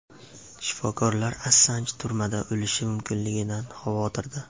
Shifokorlar Assanj turmada o‘lishi mumkinligidan xavotirda .